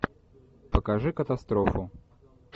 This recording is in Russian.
покажи катастрофу